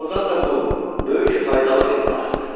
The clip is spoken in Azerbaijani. Doğrudan da bu böyük faydalı bir arxdır.